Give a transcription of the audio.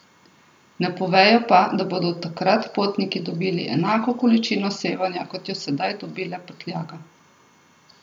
Ne povejo pa, da bodo takrat potniki dobili enako količino sevanja, kot jo sedaj dobi le prtljaga.